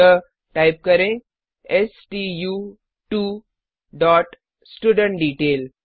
अतः टाइप करें stu2स्टुडेंटडेटेल